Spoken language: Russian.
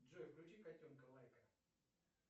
джой включи котенка лайка